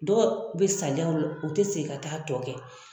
Dɔw be saliya o la u te segin ka t'a tɔ kɛ